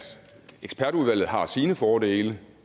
ekspertudvalg har sine fordele